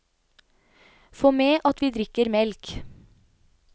Få med at vi drikker melk.